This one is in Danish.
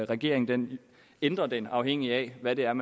regeringen ændrer den afhængigt af hvad det er